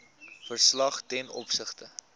verslag ten opsigte